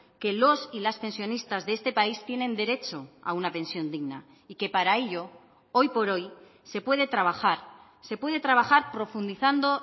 que los y las pensionistas de este país tienen derecho a una pensión digna y que para ello hoy por hoy se puede trabajar se puede trabajar profundizando